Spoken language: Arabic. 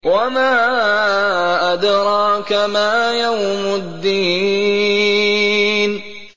وَمَا أَدْرَاكَ مَا يَوْمُ الدِّينِ